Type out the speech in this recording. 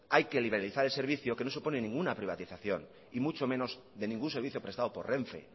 hay que liberalizar el servicio que no supone ninguna privatización y mucho menos de ningún servicio prestado por renfe